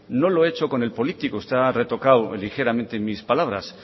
no lo he hecho con el político están retocadas ligeramente mis palabras